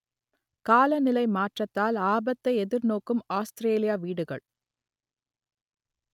காலநிலை மாற்றத்தால் ஆபத்தை எதிர்நோக்கும் ஆஸ்திரேலிய வீடுகள்